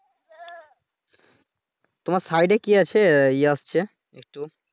তোমার সাইডে কি আছে ইয়ে আসছে